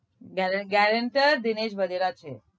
ગેરેન gerenter Dinesh વોગેરા છે